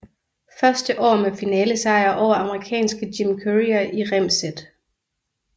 Første år med finalesejr over amerikanske Jim Courier i rem sæt